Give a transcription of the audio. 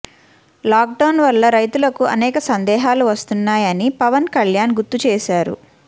lock down వల్ల రైతులకు అనేక సందేహాలు వస్తున్నాయని పవన్ కల్యాణ్ గుర్తుచేశారు